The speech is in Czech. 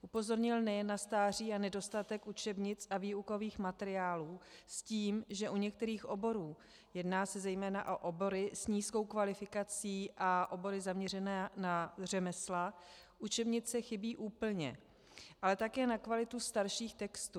Upozornil nejen na stáří a nedostatek učebnic a výukových materiálů s tím, že u některých oborů - jedná se zejména o obory s nízkou kvalifikací a obory zaměřené na řemesla - učebnice chybí úplně, ale také na kvalitu starších textů.